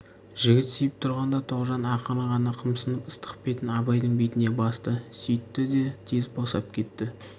жігіт сүйіп тұрғанда тоғжан ақырын ғана қымсынып ыстық бетін абайдың бетіне басты сүйтті де тез босап кетті